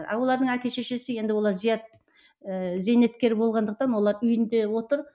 ал олардың әкі шешесі енді олар зият ы зейнеткер болғандықтан олар үйінде отыр